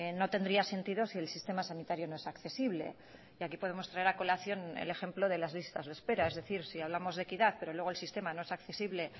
no tendría sentido si el sistema sanitario no es accesible y aquí podemos traer a colación el ejemplo de las listas de espera es decir si hablamos de equidad pero luego el sistema no es accesible